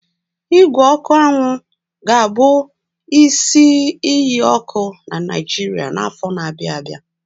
Ígwè ọkụ anwụ ga-abụ isi iyi ọkụ na Naijiria n'afọ na-abịa abịa.